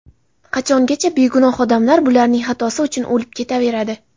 Qachongacha begunoh odamlar bularning xatosi uchun o‘lib ketaveradi?